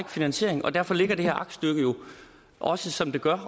finansiering og derfor ligger det her aktstykke jo også som det gør